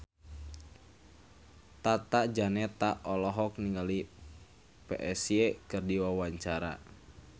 Tata Janeta olohok ningali Psy keur diwawancara